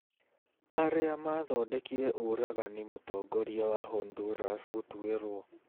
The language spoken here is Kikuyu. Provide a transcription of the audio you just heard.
Arĩa Maathondekire Ũragani mũtongoria wa Honduras gũtuĩrwo